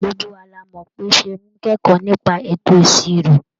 Gbogbo wa la mọ̀ pé Ṣeun ń kẹ́kọ̀ọ́ nípa ètò ìṣirò.